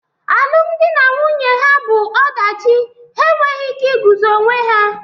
Alụmdi na nwunye ha bụ ọdachi, ha enweghị ike iguzo onwe ha